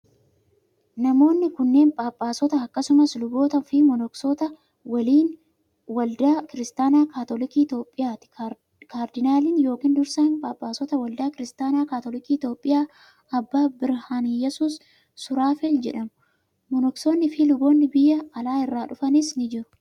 Namoonni kunneen, phaaphaasota akkasumas luboota fo monoksoota waldaa Kiristaanaa Kaatoliikii Itoophiyaati. Kaardinaaliin yokin dursaan phaaphaasotaa waldaa Kiristaana Kaatoliikii Itoophiyaa Aabbaa Birhaanaiyyasuus Suraafeel jedhamu. Monoksoonni fi luboonn biyya alaa irraa dhufanis ni jiru.